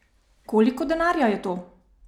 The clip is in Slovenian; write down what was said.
Koliko denarja je to?